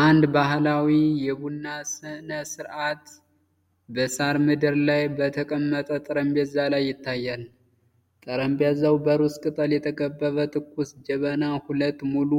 አንድ ባህላዊ የቡና ሥነ-ሥርዓት በሣር ምድር ላይ በተቀመጠ ጠረጴዛ ላይ ይታያል። ጠረጴዛው በሩዝ ቅጠል የተከበበ ትኩስ ጀበና፣ ሁለት ሙሉ